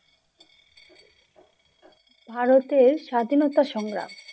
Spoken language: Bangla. ভারতের স্বাধীনতা সংগ্রাম!